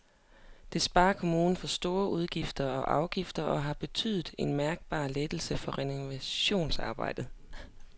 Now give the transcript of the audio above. Det sparer kommunen for store udgifter og afgifter og har betydet en mærkbar lettelse for renovationsarbejderne.